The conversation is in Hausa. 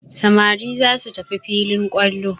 Samari za su tafi filin kwallo.